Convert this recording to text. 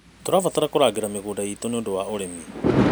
Tũrabatara kũrangĩra mĩgũnda iitũ nĩ ũndũ wa ũrĩmi.